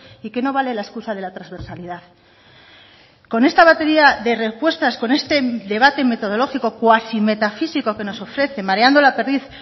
y que no vale la excusa de la transversalidad con esta batería de respuestas con este debate metodológico cuasi metafísico que nos ofrece mareando la perdiz